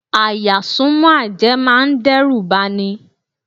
À-yà súnmọ́ àjẹ́ máa dẹ́rùbà ni.